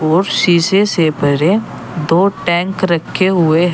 और शीशे से भरे दो टैंक रखे हुए है।